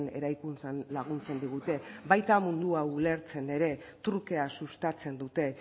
eraikuntzan laguntzen digute baita mundua ulertzen ere trukea sustatzen dute